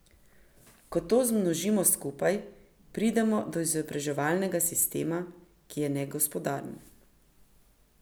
Ko to zmnožimo skupaj, pridemo do izobraževalnega sistema, ki je negospodaren.